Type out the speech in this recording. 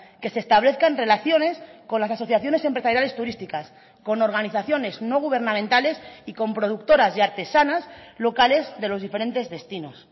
que se establezcan relaciones con las asociaciones empresariales turísticas con organizaciones no gubernamentales y con productoras y artesanas locales de los diferentes destinos